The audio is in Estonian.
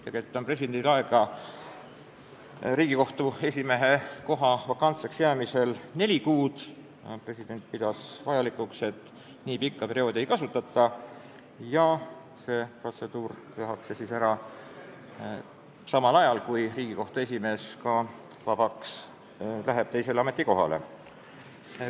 Tegelikult on presidendil aega täita Riigikohtu esimehe kohta selle vakantseks jäämise korral neli kuud, aga president pidas vajalikuks, et nii pikka perioodi ei kasutata ning protseduur tehakse ära samal ajal, kui Riigikohtu esimees saab vabaks ja läheb teisele ametikohale.